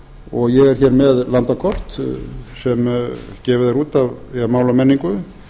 og ég er hér með landakort sem gefið er út af máli og menningu